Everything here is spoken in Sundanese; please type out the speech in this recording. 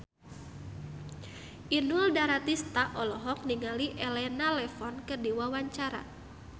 Inul Daratista olohok ningali Elena Levon keur diwawancara